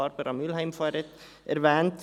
Barbara Mühlheim hat diese vorhin erwähnt.